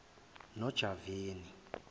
nojavani